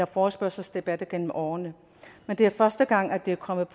forespørgselsdebatter gennem årene men det er første gang at det er kommet